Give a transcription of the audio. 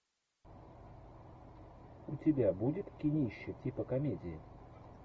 у тебя будет кинище типа комедии